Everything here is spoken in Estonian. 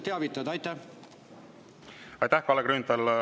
Aitäh, Kalle Grünthal!